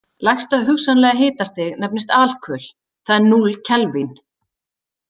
Lægsta hugsanlega hitastig nefnist alkul, það er núll kelvín.